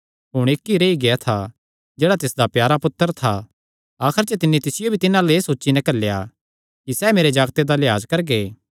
हुण इक्क ई रेई गेआ था जेह्ड़ा तिसदा प्यारा पुत्तर था आखर च तिन्नी तिसियो भी तिन्हां अल्ल एह़ सोची नैं घल्लेया कि सैह़ मेरे जागते दा लैआज करगे